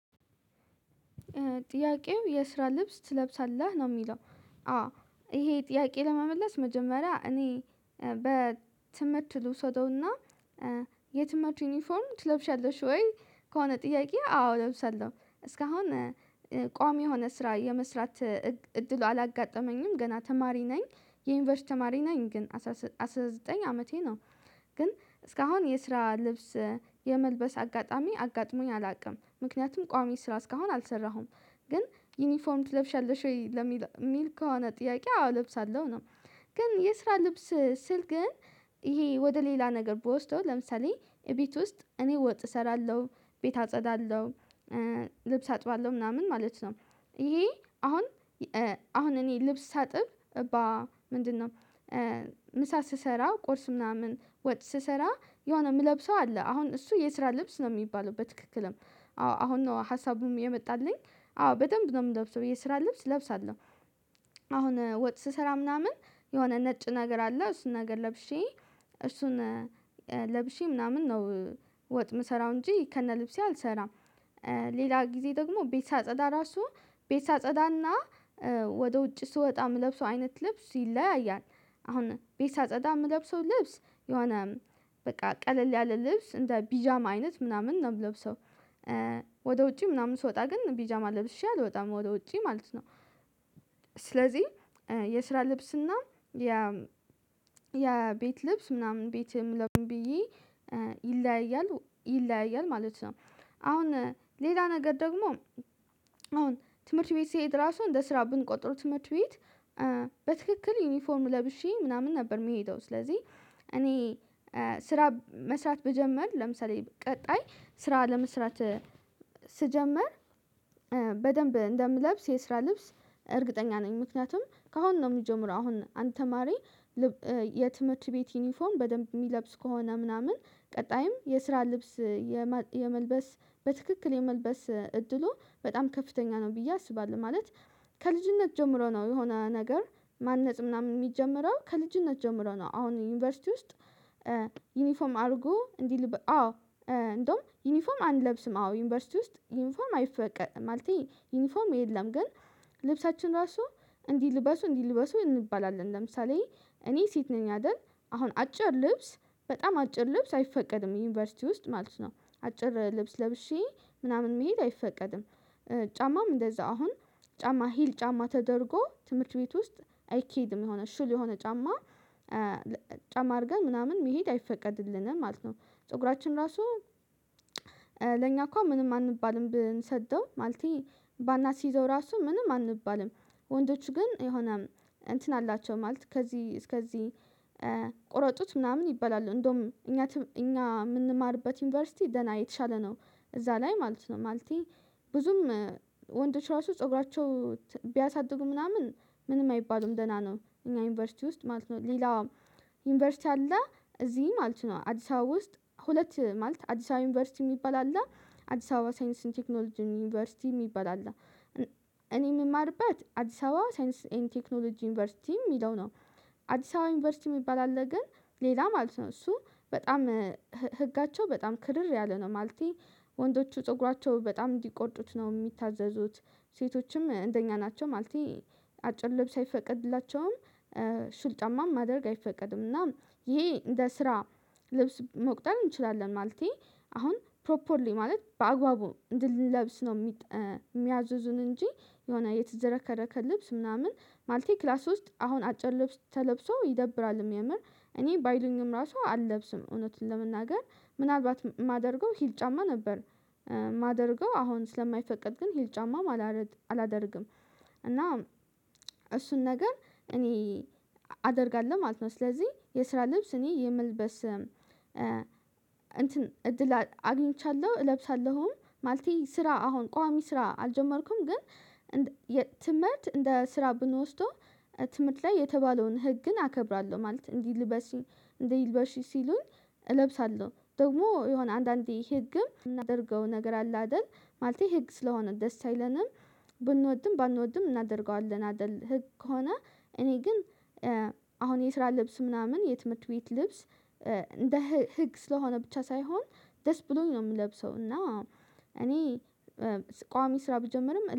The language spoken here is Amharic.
ጥያቄው የስራ ልብስ ትለብሳለህ ነው የሚለው አዎ ይሄ ጥያቄ ለመመለስ መጀመሪያ እኔ በትምህርት ልውሰደውና የትምህርት ዩኒፎርም ትለብሺያለሽ ወይ ከሆነ ጥያቄ አዎ እለብሳለሁ እስካሁን ቋሚ የሆነ ስራ የመስራት እድሉ አላጋጠመኝም ገና ተማሪ ነኝ የዩኒቨርስቲያን ተማሪ ነኝ ግን አስራ ዘጠኝ አመቴ ነው። ግን እስካሁን የስራ ልብስ የመልበስ አጋጣሚ አጋጥሞኝ አላቅም ምክንያቱም ቋሚ ስራ እስካሁን አልሰራሁም ግን ዩኒፎርም ትለብሻለሽ ወይ ለሚል ከሆነ ጥያቄ አዎ ለብሳለው አለው ነው። ግን የስራ ልብስ ስል ግን ይሄ ወደ ሌላ ነገር ብወስደው ለምሳሌ እቤት ውስጥ እኔ ወጥ እሰራለሁ ቤት አጸዳለሁ ልብስ አጥባለሁ ምናምን ማለት ነው። ይሄ አሁን እኔ ልብስ ሳጥብ በ ምንድነው? ምሳ ስሰራ ቁርስ ምናምን ወጥ ስሰራ የሆነ የምለብሰው አለ አሁን እሱ የስራ ልብስ ነው የሚባለው በትክክልም አዎ አሁን ነው ሀሳቡም የመጣልኝ አዎ በደንብ ነው የምለብሰው ብዬ ስራ ልብስ እለብሳለዉደ አሁን ወጥ ስሰራ ምናምን የሆነ ነጭ ነገር አለ እሱን ነገር ለብሼ እሱን ለብሼ ምናምን ነው ወጥ የምሰራው እንጂ ከነ ልብሴ አልሰራም ሌላ ጊዜ ደግሞ ቤት ሳጸዳ ራሱ ቤት ሳጸዳና ወደ ውጭ ስወጣ የምለብሰው አይነት ልብስ ይለያያል አሁን ቤት ሳጸዳ የምለብሰው ልብስ የሆነ በቃ ቀለል ያለ ልብስ እንደ ቢጃማ አይነት ምናምን ነው የምለብሰው ወደ ውጪ ምናምን ስወጣ ግን ቢጃማ ለብሼ አልወጣም ወደ ውጪ ማለት ነው። ስለዚህ የስራ ልብስና ያ ቤት ልብስ ምናምን ቤትም ለምን ብዬ ይለያያል ይለያያል ማለት ነው። አሁን ሌላ ነገር ደግሞ አሁን ትምህርት ቤት ስሄድ ራሱ እንደ ስራ ብንቆጥሩ ትምህርት ቤት በትክክል ዩኒፎርም ለብሼ ምናምን ነበር የምሄደው ስለዚህ እኔ ስራ መስራት ብጀምር ለምሳሌ ቀጣይ ስራ ለመስራት ስጀምር በደምብ እንደምለብስ የስራ ልብስ እርግጠኛ ነኝ። ምክንያቱም ከአሁን ነው የሚጀምረው አሁን አንድ ተማሪ የትምህርት ቤት ዩኒፎም በደንብ የሚለብስ ከሆነ ምናምን ቀጣይም የስራ ልብስ የመልበስ በትክክል የመልበስ እድሉ በጣም ከፍተኛ ነው። ብዬ አስባለሁ ማለት ከልጅነት ጀምሮ ነው የሆነ ነገር ማነጽ ምናምን የሚጀምረው ከልጅነት ጀምሮ ነው አሁን ዩኒቨርሲቲ ውስጥ ዩኒፎም አድርጎ እንዲህ አዎ እንደውም ዩኒፎርም አንለብስም አዎ ዩኒቨርሲቲ ውስጥ ዩኒፎርም አይፈቀድም ማለቴ ዩኒፎርም የለም ግን ልብሳችን ራሱ እንዲህ ልበሱ እንዲህ ልበሱ እንባላለን ለምሳሌ እኔ ሴት ነኝ አይደል? አሁን አጭር ልብስ በጣም አጭር ልብስ አይፈቀድም ዩኒቨርሲቲ ውስጥ ማለት ነው አጭር ልብስ ለብሼ ምናምን መሄድ አይፈቀድም። ጫማም እንደዛ አሁን ጫማ ሂል ጫማ ተደርጎ ትምህርት ቤት ውስጥ አይኬድም የሆነ ሹል የሆነ ጫማ ጫማ አድርገን ምናምን መሄድ አይፈቀድልንም ማለት ነው። ፀጉራችን ራሱ ለኛ እኮ ምንም አንባልም ብንሰደው ማለቴ ባናስይዘው ራሱ ምንም አንባልም ወንዶች ግን የሆነ እንትን አላቸው ማለት ከዚህ እስከዚህ ቁረጡት ምናምን ይበላሉ እንደውም እኛ እኛ የምንማርበት ዩኒቨርሲቲ ደና የተሻለ ነው። እዛ ላይ ማለት ነው ማለቴ ብዙም ወንዶች ራሱ ፀጉራቸው ቢያሳድጉ ምናምን ምንም አይባሉም ደህና ነው እኛ ዩኒቨርሲቲ ውስጥ ማለት ነው ሌላ ዩኒቨርሲቲ አለ እዚህ ማለት ነው አዲስ አበባ ውስጥ ሁለት ማለት አዲስ አበባ ዩኒቨርሲቲ የሚባል አለ አዲስ አበባ ሳይንስን ቴክኖሎጂ ዩኒቨርሲቲ የሚባል አለ እኔ የምማርበት አዲስ አበባ ሳይንስ ኤንድ ቴክኖሎጂ ዩኒቨርሲቲ የሚለው ነው። አዲስ አበባ ዩኒቨርሲቲ የሚባል አለ ግን ሌላ ማለት ነው እሱ በጣም ህጋቸው በጣም ክርር ያለ ነው ማለቴ ወንዶቹ ፀጉራቸው በጣም እንዲቆርጡት ነው የሚታዘዙት ሴቶችም እንደኛ ናቸው ማለቴ አጭር ልብስ አይፈቀድላቸውም ሹል ጫማም ማደርግ አይፈቀድም እና ይሄ እንደ ስራ ልብስ መቁጠር እንችላለን ማለቴ አሁን ፕሮፖርሊ ማለት በአግባቡ እንድንለብስ ነው። ሚያዝዙን እንጂ የሆነ የተዘረከረ ከልብስ ምናምን ማልቴ ክላስ ውስጥ አሁን አጭር ልብስ ተለብሶ ይደብራል የሚያምር እኔ ባይሉኝም ራሱ አልለብስም እውነትን ለመናገር ምናልባት የማደርገው ሂል ጫማ ነበር ማደርገው አሁን ስለማይፈቀድ ግን ሂል ጫማ አላደርግም። እና እሱን ነገር እኔ አደርጋለሁ ማለት ነው። ስለዚህ የስራ ልብስ እኔ የምልበስ እንትን እድል አግኝቻለሁ እለብሳለሁም ማለቴ ስራ አሁን ቋሚ ስራ አልጀመርኩም ግን የትምህርት እንደ ስራ ብንወስደው ትምህርት ላይ የተባለውን ህግን አከብራለሁ ማለት እንዲህ ልበሲ እንዲህ ልበሺ ሲሉን እለብሳለሁ ደግሞ የሆነ አንዳንዴ ህግም የምናደርገው ነገር አለ አይደል ማለቴ ህግ ስለሆነ ደስ አይለንም ብንወድም ባንወድም እናደርገዋለን አይደል ህግ ከሆነ እኔ ግን አሁን የስራ ልብስ ምናምን የትምህርት ቤት ልብስ እንደ ህግ ስለሆነ ብቻ ሳይሆን ደስ ብሎኝ ነው የምለብሰው እና እኔ ቋሚ ስራ ብጀምርም